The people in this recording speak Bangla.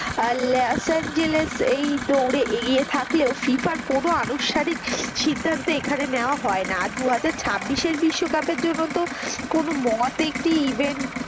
আর লস এঞ্জেলস এই দৌড়ে এগিয়ে থাকলেও FIFA কোনো আনুষ্ঠানিক কোনো সিদ্ধান্ত নেওয়া হয় না আর দুহাজার ছাব্বিশ বিশ্বকাপের জন্য তো কোনো event.